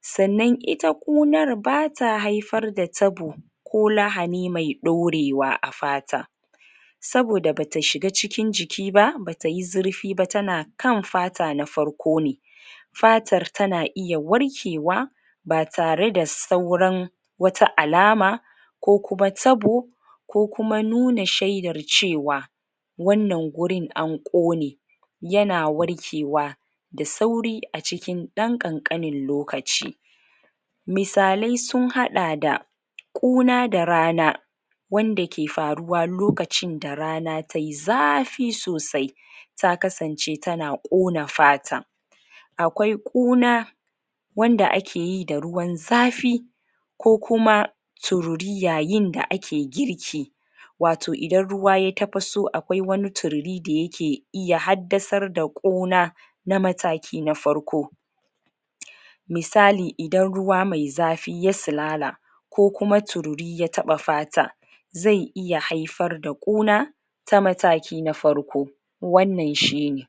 sanan ita ƙunar bata haifar da tabo ko lahani mai ɗorewa afata saboda bata shuga cikin jikiba batayi zurfi ba tana kan fata na farko ne fatar tana iya warkewa batare da sauran wata alama kokuma tabo ko kumanuna shaidar cewa wannan gurin an ƙone yana warkewa da sauri acikin ɗan ƙanƙanin lokaci misalai sun hada da ƙuna da rana wanda ke faruwa lokacin da rana tayi zafi sosai ta kasance tana ƙona fata akwai ƙona wanda akeyi da ruwan zafi ko kuma tururi yayin da ake girki wato idan ruwa ya tapaso akwai wani tururi da yake iya haddasar da ƙona na mataki nafarko misali idan ruwa mai zafi ya silala ko kuma tururi ya taɓa fata zai iya haifar da ɓona ta mataki na farko wanan shine